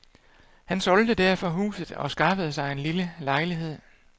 Han solgte derfor huset og skaffede sig en lille lejlighed.